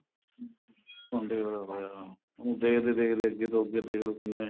ਹੁੰਦੇ ਹੋਏ ਹੋਇਆ ਉਹਨਾ ਨੂੰ ਦੇਖਦੇ ਦੇਖਦੇ ਅੱਗੇ ਤੋਂ ਅੱਗੇ ਦੇਖਲੋ ਕਿੰਨੇ